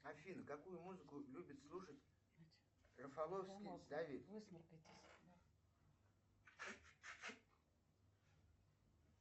афина какую музыку любит слушать рафоловский давид